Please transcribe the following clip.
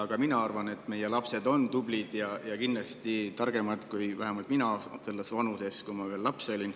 Ka mina arvan, et meie lapsed on tublid ja kindlasti targemad, kui vähemalt mina olin selles vanuses, kui ma veel laps olin.